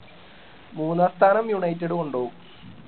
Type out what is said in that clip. മൂന്നാം സ്ഥാനം united കൊണ്ടോവും